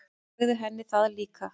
Sagði henni það líka.